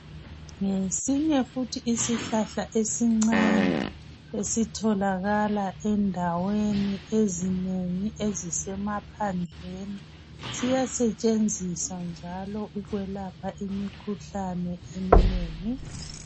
Ngesinye futhi isihlahla esincane esitholakala endaweni ezinengi ezisemaphandleni. Siyasetshenziswa njalo ukwelapha imikhuhlane eminengi